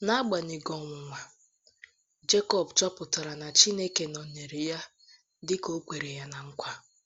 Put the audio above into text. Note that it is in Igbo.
N’agbanyeghị ọnwụnwa, Jekọb chọpụtara na Chineke nọnyeere ya dị ka o kwere ná nkwa.